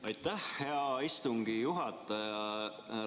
Aitäh, hea istungi juhataja!